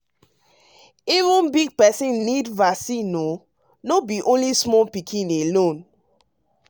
umeven big person need vaccine o no be small pikin alone